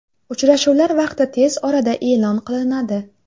Uchrashuvlar vaqti tez orada e’lon qilinadi.